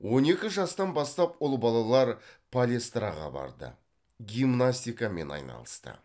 он екі жастан бастап ұл балалар палестраға барды гимнастикамен айналысты